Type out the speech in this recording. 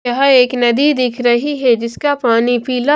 यह एक नदी दिख रही है जिसका पानी पीला--